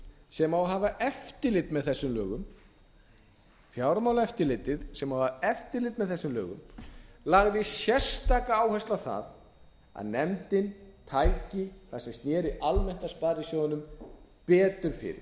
sem á að hafa eftirlit með þessum lögum lagði sérstaka áherslu á það að nefndin tæki það sem sneri almennt að sparisjóðunum betur fyrir